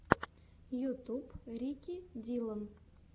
ютуб рики диллон